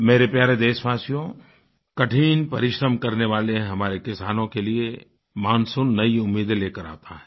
मेरे प्यारे देशवासियो कठिन परिश्रम करने वाले यह हमारे किसानों के लिए मानसून नयी उम्मीदें लेकर आता है